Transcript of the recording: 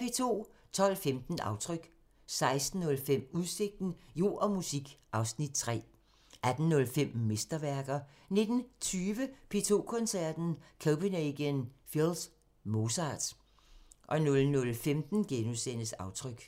12:15: Aftryk 16:05: Udsigten – Jord og musik (Afs. 3) 18:05: Mesterværker 19:20: P2 Koncerten – Copenhagen Phils Mozart 00:15: Aftryk *